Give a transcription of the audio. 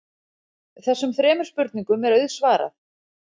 Þessum þremur spurningum er auðsvarað.